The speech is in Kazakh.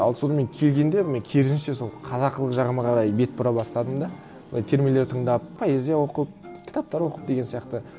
ал содан мен келгенде мен керісінше сол қазақылық жағыма қарай бет бұра бастадым да былай термелер тыңдап поэзия оқып кітаптар оқып деген сияқты